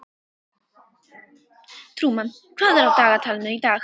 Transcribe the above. Trúmann, hvað er á dagatalinu í dag?